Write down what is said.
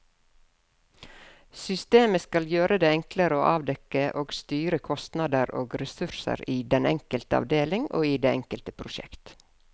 Systemet skal gjøre det enklere å avdekke og styre kostnader og ressurser i den enkelte avdeling og i det enkelte prosjekt.